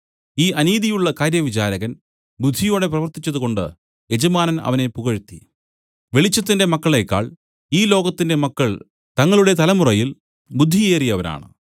ഈ അനീതിയുള്ള കാര്യവിചാരകൻ ബുദ്ധിയോടെ പ്രവർത്തിച്ചതുകൊണ്ട് യജമാനൻ അവനെ പുകഴ്ത്തി വെളിച്ചത്തിന്റെ മക്കളേക്കാൾ ഈ ലോകത്തിന്റെ മക്കൾ തങ്ങളുടെ തലമുറയിൽ ബുദ്ധിയേറിയവരാണ്